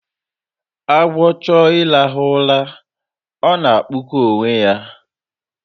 Agwọ chọọ ịrahụ ụra, ọ na-akpụkọ onwe ya